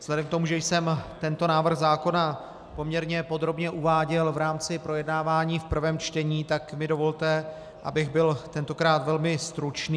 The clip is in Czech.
Vzhledem k tomu, že jsem tento návrh zákona poměrně podrobně uváděl v rámci projednávání v prvém čtení, tak mi dovolte, abych byl tentokrát velmi stručný.